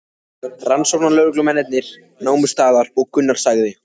Rannsóknarlögreglumennirnir námu staðar og Gunnar sagði